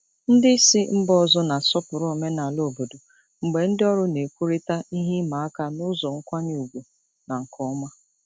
Ndị isi mba ọzọ na-asọpụrụ omenala obodo mgbe ndị ọrụ na-ekwurịta ihe ịma aka n'ụzọ nkwanye ùgwù na nke ọma.